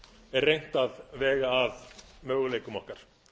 er reynt að vega að möguleikum okkar